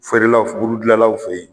Feere la f buru dilanlaw fe ye